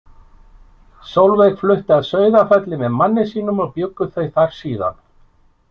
Solveig flutti að Sauðafelli með manni sínum og bjuggu þau þar síðan.